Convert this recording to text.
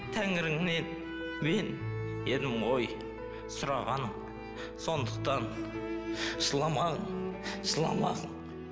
тәңіріңнен мен едім ғой сұраған сондықтан жыламаң жыламаң